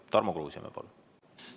Tarmo Kruusimäe, palun!